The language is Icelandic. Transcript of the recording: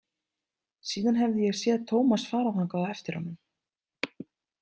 Síðan hefði ég séð Tómas fara þangað á eftir honum.